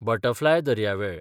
butterfly दर्यावेळ